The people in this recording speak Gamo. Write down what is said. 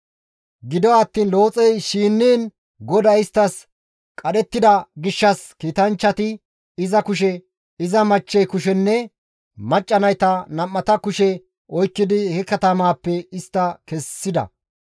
Gido attiin Looxey shinniin GODAY isttas qadhettida gishshas kiitanchchati iza kushe, iza machchey kushenne macca nayta nam7ata kushe oykkidi he katamaappe istta kessida.